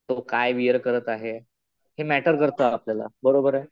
तो काय वियर करत आहे. हे मॅटर करतं आपल्याला. बरोबर आहे?